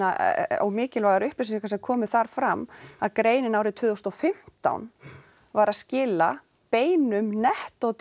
og mikilvægar upplýsingar sem komu þar fram að greinin árið tvö þúsund og fimmtán var að skila beinum nettótekjum